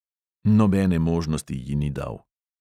Nobene možnosti ji ni dal.